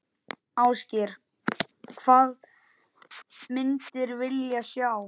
Ásgeir: Hvað myndir vilja sjá?